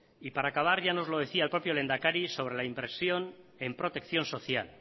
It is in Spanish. y para acabar ya no los decía el propio lehendakari sobre la impresión en protección social